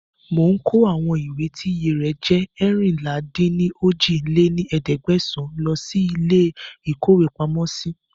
Mò ń kó àwọn ìwé tí iye rẹ̀ jẹ́ eérinlá-dín-ní-ojì lé ní ẹ̀ẹ́dẹ́gbẹ́sán lọ síí ilé ìkówepamọ́ si